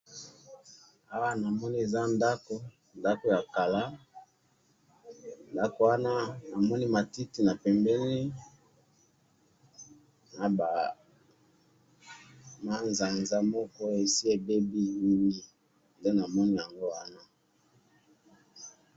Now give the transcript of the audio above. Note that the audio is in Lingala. Na moni ndako ya kala na matiti pembeni, eza na manzaza likolo.